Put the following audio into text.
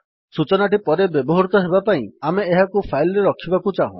ସୂଚନାଟି ପରେ ବ୍ୟବହୃତ ହେବା ପାଇଁ ଆମେ ଏହାକୁ ଫାଇଲ୍ ରେ ରଖିବାକୁ ଚାହୁଁ